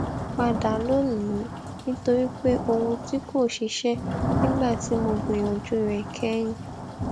padà lónìí nítorí pé ohun tí kò ṣiṣẹ nígbà tí mo gbìyànjú rẹ kẹyìn